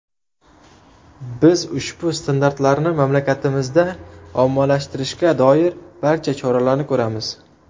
Biz ushbu standartlarni mamlakatingizda ommalashtirishga doir barcha choralarni ko‘ramiz.